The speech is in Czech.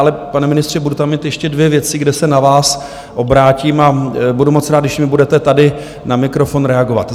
Ale pane ministře, budu tam mít ještě dvě věci, kde se na vás obrátím, a budu moc rád, když mi budete tady na mikrofon reagovat.